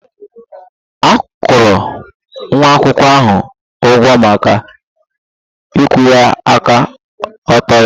A kwụrụ nwa akwụkwọ ahụ ụgwọ maka ịkwụwa aka ọtọ ya